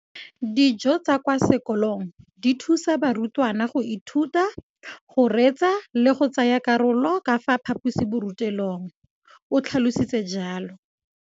Dijo tsa kwa sekolong dithusa barutwana go ithuta, go reetsa le go tsaya karolo ka fa phaposiborutelong, o tlhalositse jalo.